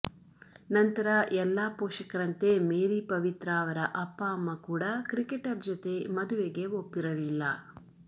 ನಂತರ ಎಲ್ಲಾ ಪೋಷಕರಂತೆ ಮೇರಿ ಪವಿತ್ರಾ ಅವರ ಅಪ್ಪ ಅಮ್ಮ ಕೂಡಾ ಕ್ರಿಕೆಟರ್ ಜೊತೆ ಮದುವೆಗೆ ಒಪ್ಪಿರಲಿಲ್ಲ